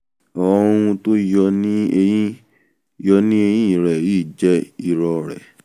àwọn ohun tó yọ ní eyìn yọ ní eyìn rẹ yìí jẹ́ irorẹ̀